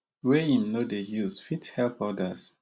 wey im no dey use fit help odas